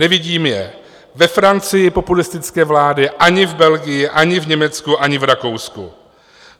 Nevidím je ve Francii, populistické vlády, ani v Belgii, ani v Německu, ani v Rakousku.